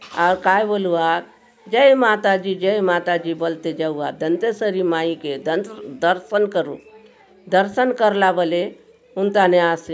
आउर काय बोलू आ जय माता दी जय माता दी बलते जाऊआत दंतेश्वरी माई के दर्शन करूक दर्शन करला बले हुन थाने आसे --